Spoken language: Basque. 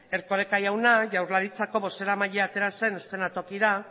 erkoreka jauna jaurlaritzako bozeramailea atera zen eskenatokira